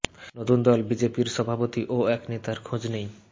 নতুন দল বিজেপির সভাপতি ও এক নেতার খোঁজ নেই